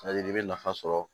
i bɛ nafa sɔrɔ